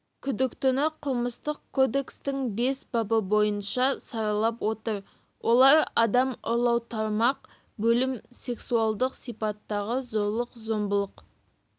күдіктіні қылмыстық кодекстің бес бабы бойынша саралап отыр олар адам ұрлау тармақ бөлім сексуалдық сипаттағы зорлық-зомбылық